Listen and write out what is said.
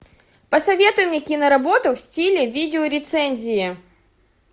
посоветуй мне киноработу в стиле видеорецензии